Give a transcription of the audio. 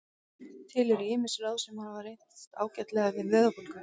Til eru ýmis ráð sem hafa reynst ágætlega við vöðvabólgu.